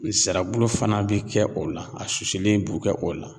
Nsirabulu fana bi kɛ o la a susulen b'u kɛ o la.